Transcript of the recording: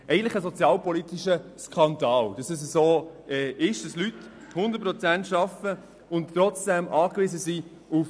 Es ist eigentlich ein sozialpolitischer Skandal, dass Leute zu 100 Prozent arbeiten und trotzdem auf Sozialhilfe angewiesen sind.